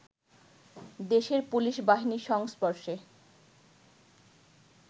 দেশের পুলিশ বাহিনীর সংস্পর্শে